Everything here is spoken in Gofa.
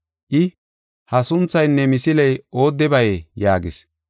I, “Ha sunthaynne misiley oodebayee?” yaagis.